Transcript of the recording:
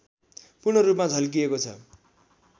पूर्ण रूपमा झल्किएको छ